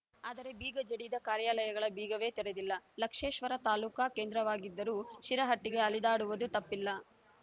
ಆದರೆ ಬೀಗ ಜಡಿದ ಕಾರ್ಯಾಲಗಳ ಬೀಗವೇ ತೆರೆದಿಲ್ಲ ಲಕ್ಷ್ಮೇಶ್ವರ ತಾಲೂಕಾ ಕೇಂದ್ರವಾಗಿದ್ದರು ಶಿರಹಟ್ಟಿಗೆ ಅಲೆದಾಡುವದು ತಪ್ಪಿಲ್ಲ